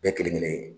Bɛɛ kelen kelen